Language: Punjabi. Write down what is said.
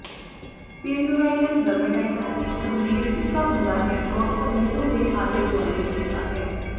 ਪੀਰੀਓਰਾਲਿਲ ਡਰਮੇਟਾਇਟਸ ਇਕ ਗੰਭੀਰ ਫਿੱਕਾ ਹੁੰਦਾ ਹੈ ਜੋ ਅਕਸਰ ਮੂੰਹ ਦੇ ਆਲੇ ਦੁਆਲੇ ਦਿਸਦਾ ਹੈ